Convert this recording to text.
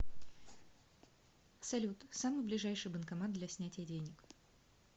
салют самый ближайший банкомат для снятия денег